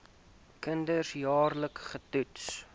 kinders jaarliks getoets